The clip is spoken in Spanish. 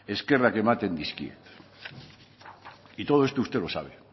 eskerrak ematen dizkiet y todo esto usted lo sabe